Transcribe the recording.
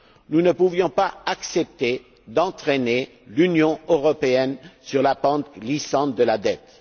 Nous ne pouvions pas accepter d'entraîner l'Union européenne sur la pente glissante de la dette.